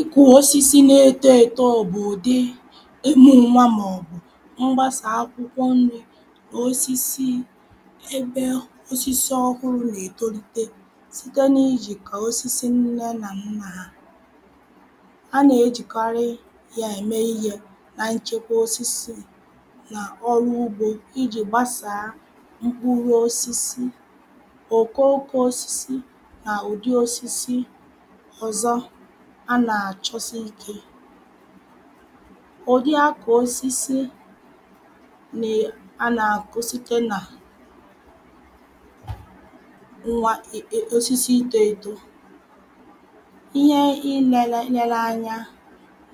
ịkụ̇ osisi na-etoeto bụ̀ ụ̀dị ịmụ̇ nwȧ màọ̀bụ̀ mgbasà akwụkwọ nri̇ nà osisi ebe osisi ọhụrụ̇ nɑ̀-ètolite site n’ijìkọ̀ osisi nne nà nnà ha. anà-ejìkarị ya ème ihė na nchekwa osisi nà ọrụ ugbȯ ijì gbasàa mkpụrụ̇ osisi, okooko osisi nà ụ̀dị osisi ọzọ a na achọ sị ike. Ụdị akọ osisi a nà-àkọ site nà ihe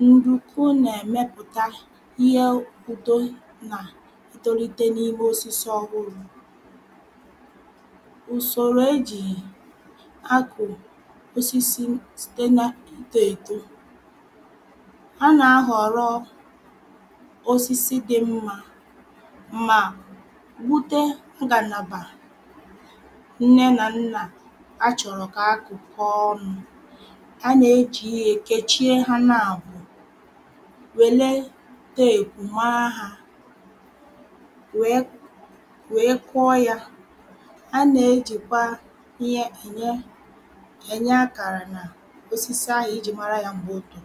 ndị ukwuu n'ako. A nà-ahọ̀rọ osisi dị mmȧ mà wute ngàlàbà nne nà nnà achọ̀rọ̀ kà akụ̀kọ ọnụ̇ a nà-ejì yi èkechie ha na-àbụo wèle teèpù maa hȧ wèe wèe kụọ ya a nà-ejìkwa ihe ènye ènye akàrà nà osisi a ejiri mara ya nà mbu bu